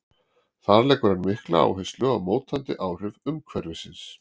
Þar leggur hann mikla áherslu á mótandi áhrif umhverfisins.